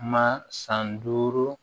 Ma san duuru